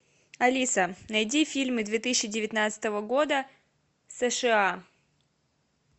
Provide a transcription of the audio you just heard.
алиса найди фильмы две тысячи девятнадцатого года сша